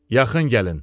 Yaxın gəlin.